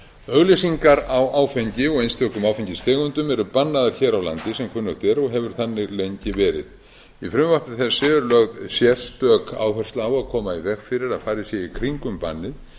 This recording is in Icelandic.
auglýsingar á áfengi og einstökum áfengistegundum eru bannaðar hér á landi sem kunnugt er og hefur þannig lengi verið í frumvarpi þessu er lögð sérstök áhersla á að koma í veg fyrir að farið sé í kringum bannið